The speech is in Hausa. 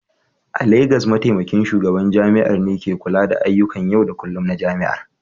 A Legas, Mataimakin Shugaban Jami'ar ne ke kula da ayyukan yau da kullun na jami'ar